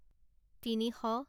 তিনিশ